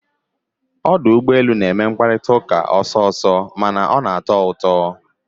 Ọdụ ụgbọ elu na-eme mkparịta ụka ọsọ ọsọ mana na-atọ ụtọ